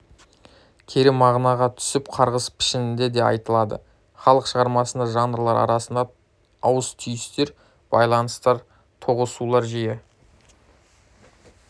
кері мағынаға түсіп қарғыс пішінінде де айтылады халық шығармасында жанрлар арасында ауыс-түйістер байланыстар тоғысулар жиі